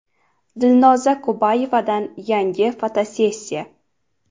Dilnoza Kubayevadan yangi fotosessiya .